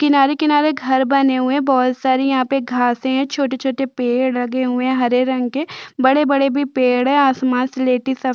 किनारे किनारे घर बने हुए है बोहोत सारी यहाँ पे घासे है छोटे- छोटे पेड लगे हुए है हरे रंग के बड़े -बड़े भी पेड़ है आसमान सिलेटी सफे --